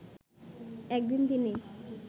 একদিন তিনি